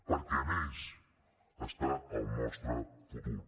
perquè en ells està el nostre futur